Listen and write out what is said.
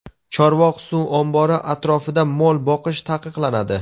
Chorvoq suv ombori atrofida mol boqish taqiqlanadi.